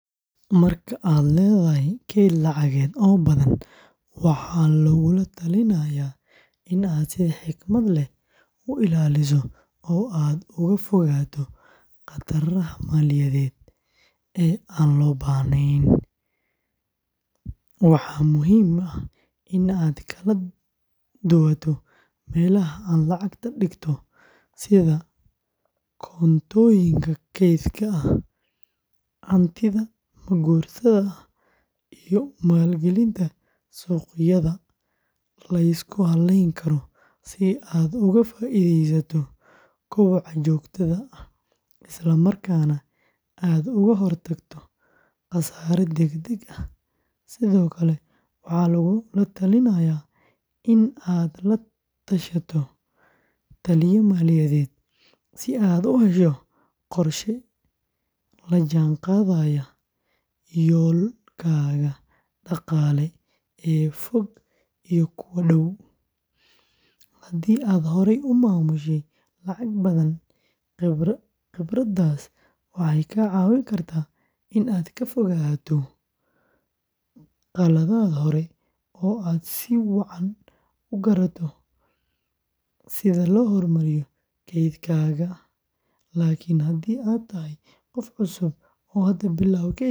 Marka aad leedahay kayd lacageed oo badan, waxaa lagula talinayaa in aad si xikmad leh u ilaaliso oo aad uga fogaato khataraha maaliyadeed ee aan loo baahnayn; waxaa muhiim ah in aad kala duwato meelaha aad lacagta dhigato sida koontooyinka kaydka ah, hantida ma-guurtada ah, iyo maalgelinta suuqyada la isku halleyn karo si aad uga faa'iidaysato koboca joogtada ah, isla markaana aad uga hortagto khasaare degdeg ah; sidoo kale waxaa lagula talinayaa in aad la tashato la-taliye maaliyadeed si aad u hesho qorshe la jaan qaadaya yoolalkaaga dhaqaale ee fog iyo kuwa dhow; haddii aad horay u maamushay lacag badan, khibraddaas waxay kaa caawin kartaa in aad ka fogaato khaladaad hore oo aad si wacan u garato sida loo horumariyo kaydkaaga; laakin haddii aad tahay qof cusub oo hadda bilowday kaydka.